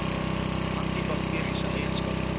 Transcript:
anti bakteriese eienskappe